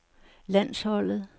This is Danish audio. landsholdet